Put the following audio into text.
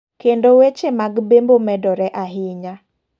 kendo weche mag bembo medore ahinya.